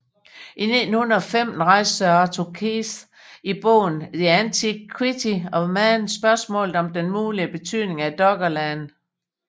I 1915 rejste Sir Arthur Keith i bogen The Antiquity of Man spørgsmålet om den mulige betydning af Doggerland